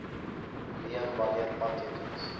neem wanneer padtekens